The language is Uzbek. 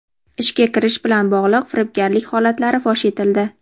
Ishga kiritish bilan bog‘liq firibgarlik holatlari fosh etildi.